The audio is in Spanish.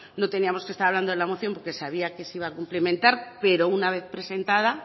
no teníamos que estar hablando de la moción porque sabía que se iba a complementar pero una vez presentada